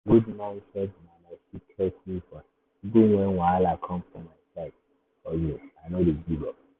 good mindset na my secret weapon even when wahala come for my side hustle i no dey give up.